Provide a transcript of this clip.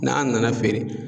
N'an nana feere